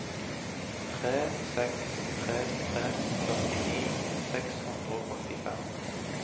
tre seks tre tre førtini seks hundre og åttifem